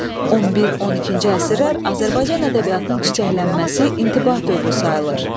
11-12-ci əsrlər Azərbaycan ədəbiyyatının çiçəklənməsi intibah dövrü sayılır.